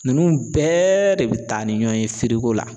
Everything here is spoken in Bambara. Ninnu bɛɛ de bɛ taa ni ɲɔn ye la.